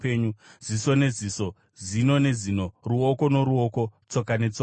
ziso neziso, zino nezino, ruoko noruoko, tsoka netsoka,